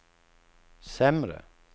sämre